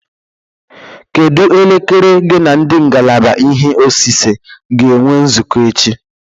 Kedụ elekere gị n'ndi ngalaba ihe osise ga-enwe nzukọ echi?